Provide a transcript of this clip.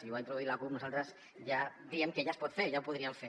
ho ha introduït la cup i nosaltres diem que ja es pot fer ja ho podríem fer